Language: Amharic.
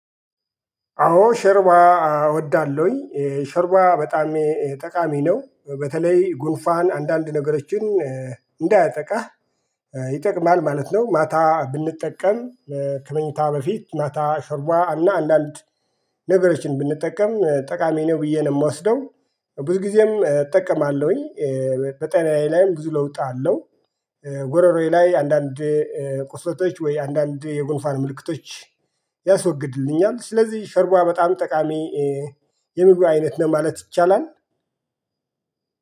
አዎ ሾርባ እወዳለሁኝ ቮርባ በጣም ጠቃሚ ነው በተለይ ጉንፋን አንዳንድ ነገሮችን እንዳያጠቃህ ይጠቅማል ማለት ነው። ማታ ብንጠቀም ከመኝታ በፊት ማታ ሾርባ እና አንዳድ ነገሮችን ብንጠቀም ጠቃሚ ነው ብዬ ነው እምወስደው። ብዙ ጊዜም እጠቀማለሁኝ። በጤናዬ ላይም ብዙ ለውጥ አለው። ጉሮሮዬ ላይ አንዳንድ ቁስለቶች ወይ አንዳንድ የጎንፋን ምልክቶች ያስወግድልኛል። ስለዚህ ሸርቦ በጣም ጠቃሚ የምግብ አይነት ማለት ይቻላል።